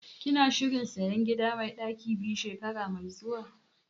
Kana shirin sayan gida mai ɗaki biyu shekara mai zuwa?